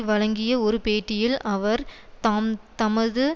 வழங்கிய ஒரு பேட்டியில் அவர் தாம் தமது